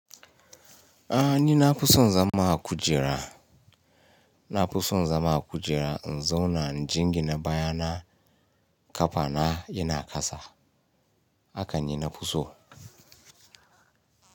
A ni na fi son zama a kujera, na fi son zama a kujera in zauna injingina baya na ƙafa na yana kasa, haka ni na fi so.